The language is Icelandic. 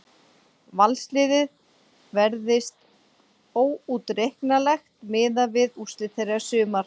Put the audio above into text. Valsliðið verðist óútreiknanlegt miðað við úrslit þeirra í sumar.